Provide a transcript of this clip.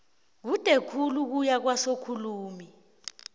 kude khulu ukuya kwasokhulumi